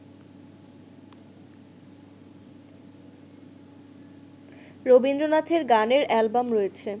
রবীন্দ্রনাথের গানের অ্যালবাম রয়েছে